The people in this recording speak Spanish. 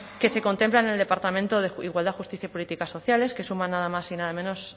que se contempla en el departamento de igualdad justicia y políticas sociales que suma nada más y nada menos